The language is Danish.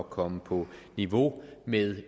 komme på niveau med